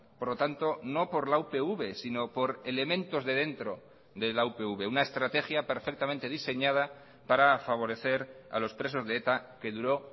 por lo tanto no por la upv sino por elementos de dentro de la upv una estrategia perfectamente diseñada para favorecer a los presos de eta que duró